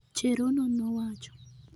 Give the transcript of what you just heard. "Cherono nowacho